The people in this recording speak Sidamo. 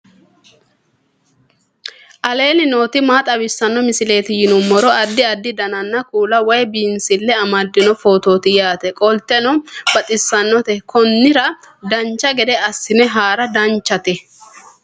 aleenni nooti maa xawisanno misileeti yinummoro addi addi dananna kuula woy biinsille amaddino footooti yaate qoltenno baxissannote konnira dancha gede assine haara danchate